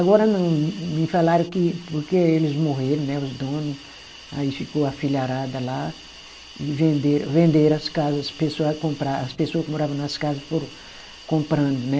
Agora não, me falaram que porque eles morreram, né, os donos, aí ficou a filharada lá e venderam, venderam as casas, as pessoas compra, as pessoas que moravam nas casas foram comprando, né?